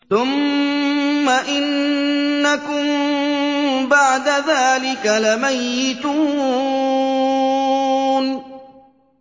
ثُمَّ إِنَّكُم بَعْدَ ذَٰلِكَ لَمَيِّتُونَ